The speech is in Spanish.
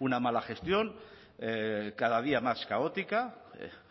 una mala gestión cada día más caótica